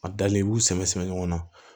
A dalen i b'u sɛbɛ sɛbɛ ɲɔgɔn na